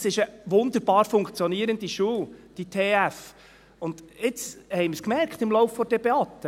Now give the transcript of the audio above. Es ist eine wunderbar funktionierende Schule, diese TF Bern, und jetzt haben wir es gemerkt, im Lauf der Debatte: